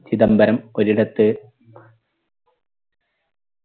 ചിദംബരം ഒരിടത്ത്